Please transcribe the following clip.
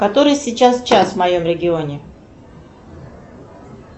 который сейчас час в моем регионе